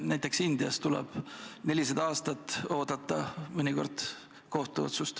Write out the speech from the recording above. Näiteks Indias tuleb mõnikord 400 aastat oodata kohtuotsust.